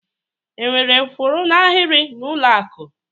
Enwere kwụ n'ahịrị n'ụlọ akụ?